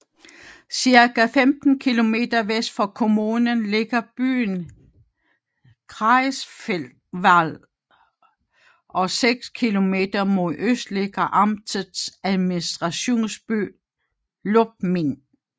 Cirka 15 kilometer vest for kommunen ligger byen Greifswald og seks kilometer mod øst ligger amtets administrationsby Lubmin